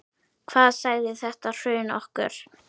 Hvað sagði þetta hrun okkur?